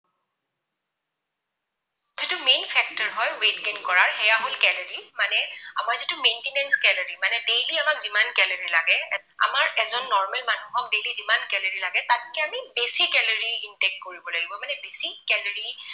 যিটো main factor হয় weight gain কৰাৰ, সেয়া হল calorie মানে আমাৰ যিটো maintenance calorie মানে daily আমাক যিমান calorie লাগে। আমাৰ এজন normal মানুহক daily যিমান calorie লাগে তাতকৈ আমি বেছি calorie intake কৰিব লাগিব। মানে বেছি calorie